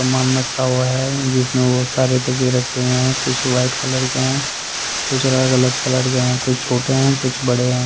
सामान रखा हुआ है जिसमें वो सारे तके रखे हुए हैं कुछ वाइट कलर के हैं कुछ अलग-अलग कलर के हैं कुछ छोटे हैं कुछ बड़े हैं।